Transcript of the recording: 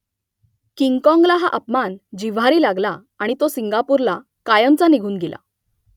किंगकाँगला हा अपमान जिव्हारी लागला आणि तो सिंगापूरला कायमचा निघून गेला